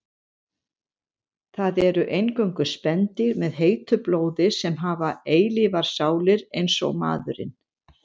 Það eru eingöngu spendýr með heitu blóði sem hafa eilífar sálir eins og maðurinn.